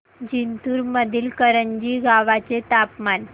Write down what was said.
जिंतूर मधील करंजी गावाचे तापमान